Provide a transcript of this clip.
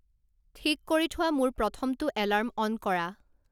ঠিক কৰি থোৱা মোৰ প্ৰ্ৰথমটো এলাৰ্ম অন কৰা